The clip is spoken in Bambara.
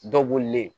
Dɔ bolilen